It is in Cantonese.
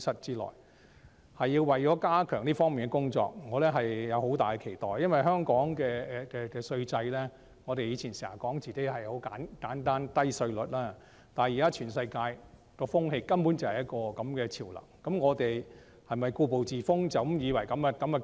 有關安排是為了加強這方面的工作，我對此有很大的期待，因為我們過去經常說香港的稅制十分簡單，稅率又低，但現在全世界的潮流根本就是這樣，那麼我們是否要故步自封，以為這樣便足夠？